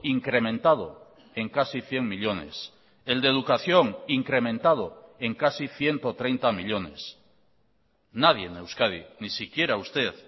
incrementado en casi cien millónes el de educación incrementado en casi ciento treinta millónes nadie en euskadi ni siquiera usted